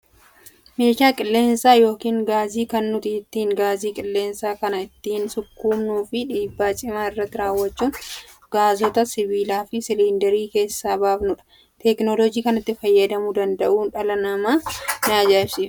Meeshan qilleensaa yookaan gaasii kan nuti ittiin gaazii qilleensa kana ittiin sukkuumnuu fi dhiibbaa cimaa irratti raawwachuun gaasota sibiilaa fi siliindarii keessaa baafnudha. Teekinooloojii kanatti fayyadamuu danda'uu namaa na ajaa'ibsiifadha.